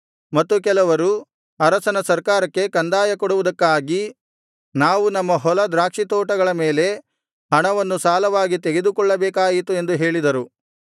ಮತ್ತು ಕೆಲವರು ಅರಸನ ಸರ್ಕಾರಕ್ಕೆ ಕಂದಾಯ ಕೊಡುವುದಕ್ಕಾಗಿ ನಾವು ನಮ್ಮ ಹೊಲ ದ್ರಾಕ್ಷಿತೋಟಗಳ ಮೇಲೆ ಹಣವನ್ನು ಸಾಲವಾಗಿ ತೆಗೆದುಕೊಳ್ಳಬೇಕಾಯಿತು ಎಂದು ಹೇಳಿದರು